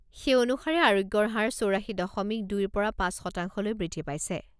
সেই অনুসাৰে আৰোগ্যৰ হাৰ চৌৰাশী দশমিক দুই পৰা পাঁচ শতাংশলৈ বৃদ্ধি পাইছে।